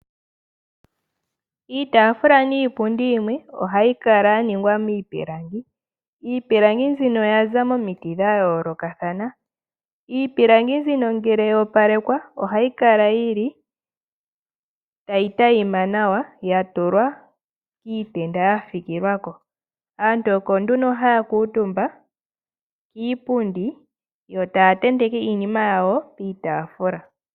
Iitaafula niipundi yimwe ohayi kala ya ningwa miipilangi. Iipilangi mbino oya za momiti dha yoolokathana. Iipilangi mbino ngele ya opalekwa, ohayi kala tayi tayima nawa, ya tulwa iitenda ya fikilwa ko. Aantu oko nduno haya kuutumba kiipundi yo taya tenteke iinima yawo piitaafula.